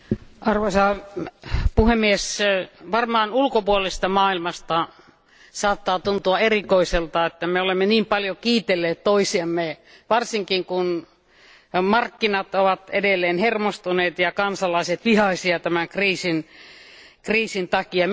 Arvoisa puhemies, varmaan ulkopuolisesta maailmasta saattaa tuntua erikoiselta, että me olemme niin paljon kiitelleet toisiamme, varsinkin kun markkinat ovat edelleen hermostuneita ja kansalaiset vihaisia tämän kriisin takia.